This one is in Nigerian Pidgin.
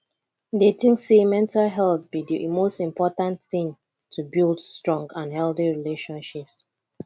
i dey think say mental health be di most important thing to build strong and healthy relationships